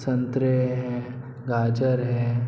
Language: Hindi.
संतरे हैं गाजर हैं।